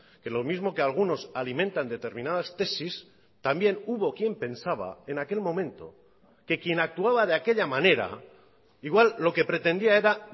que lo mismo que algunos alimentan determinadas tesis también hubo quien pensaba en aquel momento que quien actuaba de aquella manera igual lo que pretendía era